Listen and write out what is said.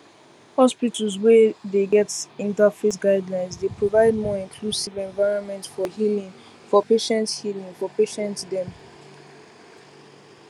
hospitals wey dey get interfaith guidelines dey provide more inclusive environment for healing for patients healing for patients dem